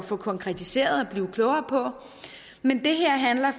få konkretiseret og blive klogere på men det her handler